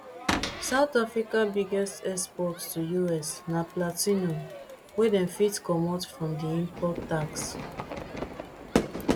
south africa biggest export to us na platinum wey dem fit comot from di import tax